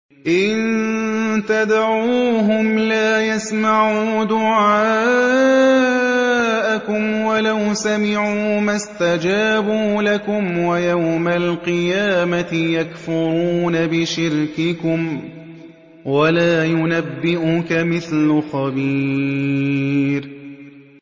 إِن تَدْعُوهُمْ لَا يَسْمَعُوا دُعَاءَكُمْ وَلَوْ سَمِعُوا مَا اسْتَجَابُوا لَكُمْ ۖ وَيَوْمَ الْقِيَامَةِ يَكْفُرُونَ بِشِرْكِكُمْ ۚ وَلَا يُنَبِّئُكَ مِثْلُ خَبِيرٍ